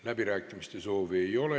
Läbirääkimiste soovi ei ole.